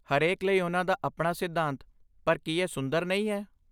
ਹਰੇਕ ਲਈ ਉਹਨਾਂ ਦਾ ਆਪਣਾ ਸਿਧਾਂਤ, ਪਰ ਕੀ ਇਹ ਸੁੰਦਰ ਨਹੀਂ ਹੈ?